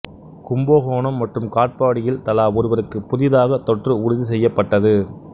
கும்பகோணம் மற்றும் காட்பாடியில் தலா ஒருவருக்கு புதிதாக தொற்று உறுதிசெய்யப்பட்டது